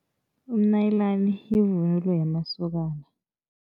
Umnayilani yivunulo yamasokana.